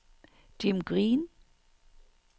Jim Green